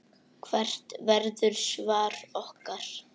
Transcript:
Hvert verður svar okkar?